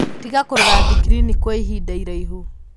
Tiga kũrora thikirini kwa ihinda iraihu.